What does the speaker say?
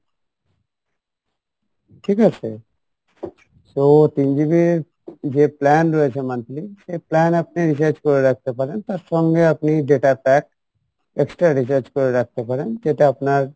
ঠিক আছে? so তিন GB ইর যে plan রয়েছে monthly সেই plan আপনি recharge করে রাখতে পারেন তার সঙ্গে আপনি data pack extra recharge করে রাখতে পারেন যেটা আপনার